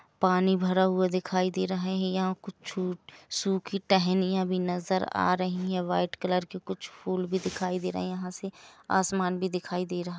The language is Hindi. पानी भरा हुआ दिखाई दे रहा है यहा कुछ सु--सुखी टहनीया भी नजर आ रही है व्हाइट कलर के कुछ फूल भी दिखाई दे रहे है यहा से आसमान भी दिखाई दे रहा है।